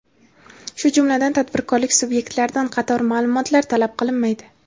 shu jumladan tadbirkorlik sub’ektlaridan qator ma’lumotlar talab qilinmaydi.